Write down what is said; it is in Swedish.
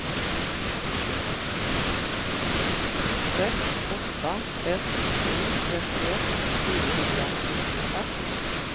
sex åtta ett sju trettioett niohundranittiofem